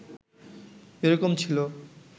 এরকম ছিল